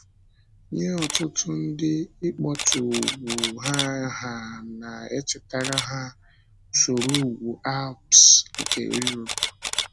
Nye ọtụtụ ndị, ịkpọtụ ugwu aha na-echetara ha usoro ugwu Álps nke Europe.